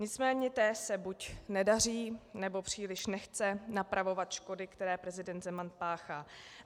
Nicméně té se buď nedaří, nebo příliš nechce napravovat škody, které prezident Zeman páchá.